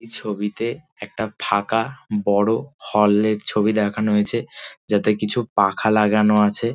এই ছবিতে একটা ফাঁকা বড় হল -এর ছবি দেখানো হয়েছে যাতে কিছু পাখা লাগানো আছে ।